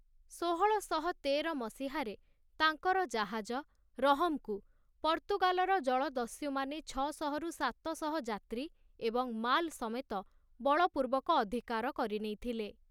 ଷୋହଳଶହ ତେର ମସିହାରେ, ତାଙ୍କର ଜାହାଜ, 'ରହମ୍'କୁ ପର୍ତ୍ତୁଗାଲର ଜଳଦସ୍ୟୁମାନେ ଛଅ ଶହ ରୁ ସାତ ଶହ ଯାତ୍ରୀ ଏବଂ ମାଲ୍ ସମେତ ବଳପୂର୍ବକ ଅଧିକାର କରିନେଇଥିଲେ ।